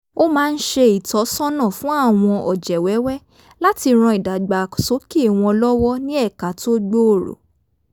ó máa ń ṣe ìtọ́sọ́nà fun àwọn ọ̀jẹ̀ wẹ́wẹ́ láti ran ìdàgbàsókè wọn lọ́wọ́ ní ẹ̀ka tó gbòòrò